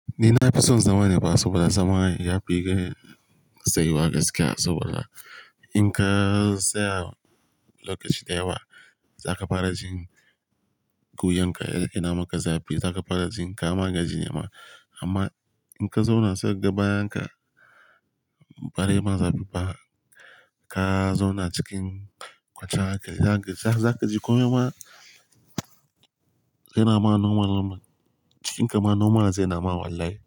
Ni na fi son zama neba saboda zama ya fi gani tsayuwa gaskiya saboda in ka saya location dayawa, za ka fara jin guyan ka ya ina ma ka zabi. Za ka fara jin kama gaji ma amma in ka zauna sai ka ga bayan ka ba zai ma zabi ba, ka zauna cikin kwacarka, za ka ji komai ma yana ma nomal namal. Cikin kama nomal zai nama wallahi.